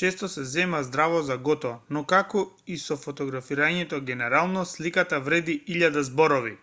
често се зема здраво за готово но како и со фотографирањето генерално сликата вреди илјада зборови